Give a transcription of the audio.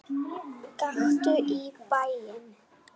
Gakktu í bæinn!